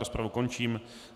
Rozpravu končím.